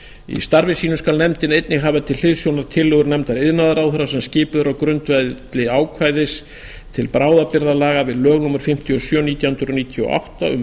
í starfi sínu skal nefndin einnig hafa til hliðsjónar tillögur nefndar iðnaðarráðherra sem skipuð er á grundvelli ákvæðis til bráðabirgðalaga við lög númer fimmtíu og sjö nítján hundruð níutíu og átta um